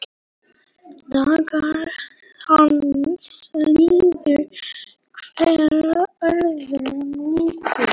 Dagar hans liðu hver öðrum líkir.